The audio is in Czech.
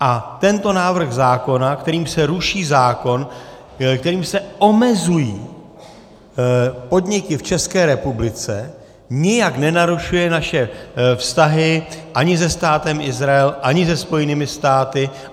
A tento návrh zákona, kterým se ruší zákon, kterým se omezují podniky v České republice, nijak nenarušuje naše vztahy ani se Státem Izrael, ani se Spojenými státy.